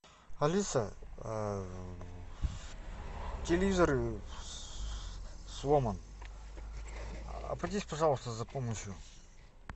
алиса телевизор сломан обратись пожалуйста за помощью